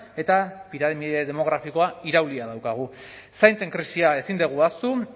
eta piramide demografikoa iraulia daukagu zaintzen krisia ezin dugu ahaztu